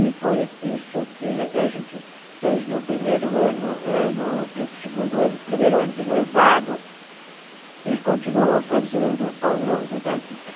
E foi isso que a gente fez no primeiro ano ãh primeiro ano de noivado e continuou fazendo ao longo da vida.